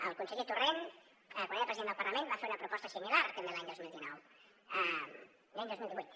el conseller torrent quan era president del parlament va fer una proposta similar també l’any dos mil divuit